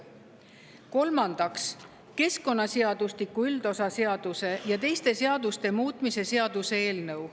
Kolmandaks, keskkonnaseadustiku üldosa seaduse ja teiste seaduste muutmise seaduse eelnõu.